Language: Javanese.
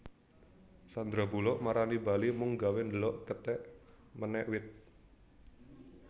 Sandra Bullock marani Bali mung gawe ndelok kethek menek wit